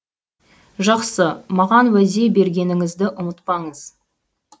жақсы маған уәде бергеніңізді ұмытпаңыз